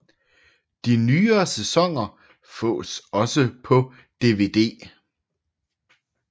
De nyere sæsoner fås også på DVD